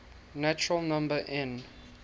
natural number n